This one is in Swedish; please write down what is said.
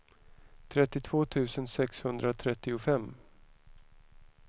trettiotvå tusen sexhundratrettiofem